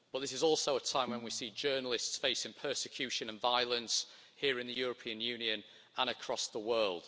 But this is also a time when we see journalists facing persecution and violence here in the European Union and across the world.